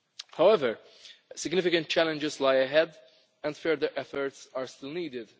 However, significant challenges lie ahead and further efforts are still needed.